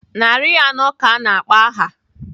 Narị anọ ka a na-akpọ aha.